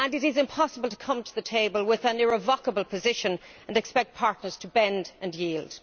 It is impossible to come to the table with an irrevocable position and expect partners to bend and yield.